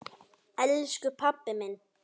Elsku pabbi minn!